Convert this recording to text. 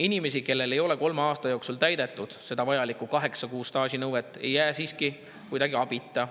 Inimesed, kellel ei ole kolme aasta jooksul täidetud vajalikku kaheksa kuu staaži nõuet, ei jää siiski kuidagi abita.